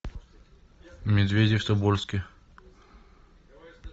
медведи в тобольске